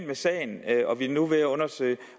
med sagen og vi er nu ved at undersøge